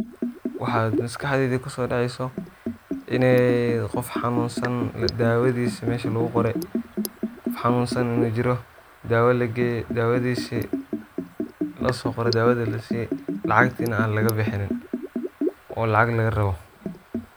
Waxa maskaxdeyda kusodaceyso inay qoof xanunsan ladawadhisa mesha luguqoray qof xanunsan majiro dawa lagey dawa tiisi losoqoro dawadhi lasii lacagtini an lagabixin oo lacag lagarabo.